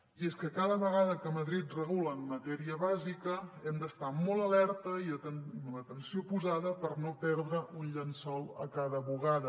i és que cada vegada que madrid regula en matèria bàsica hem d’estar molt alerta i amb l’atenció posada per no perdre un llençol a cada bugada